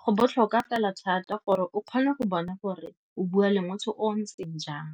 go botlhokwa fela thata gore o kgone go bona gore o bua le motho o o ntseng jang.